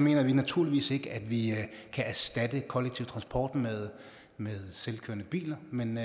mener vi naturligvis ikke at vi kan erstatte den kollektive transport med med selvkørende biler men